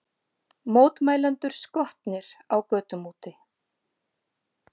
Mótmælendur skotnir á götum úti